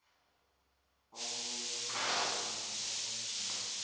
obunye nobunye ubujamo